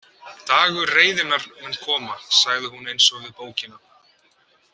Dagur reiðinnar mun koma, sagði hún eins og við bókina.